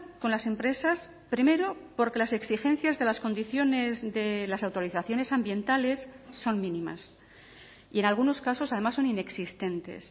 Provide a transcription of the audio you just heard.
con las empresas primero porque las exigencias de las condiciones de las autorizaciones ambientales son mínimas y en algunos casos además son inexistentes